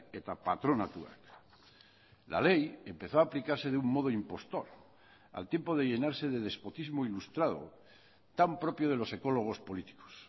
eta patronatuak la ley empezó a aplicarse de un modo impostor al tiempo de llenarse de despotismo ilustrado tan propio de los ecólogos políticos